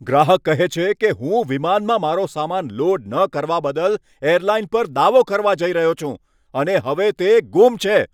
ગ્રાહક કહે છે કે, હું વિમાનમાં મારો સામાન લોડ ન કરવા બદલ એરલાઇન પર દાવો કરવા જઈ રહ્યો છું અને હવે તે ગુમ છે.